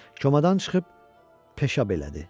Komadan çıxıb peşəbələdi.